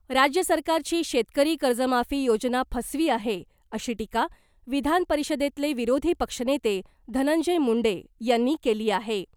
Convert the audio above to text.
राज्य सरकारची शेतकरी कर्जमाफी योजना फसवी आहे , अशी टीका विधानपरिषदेतले विरोधी पक्षनेते धनंजय मुंडे यांनी केली आहे .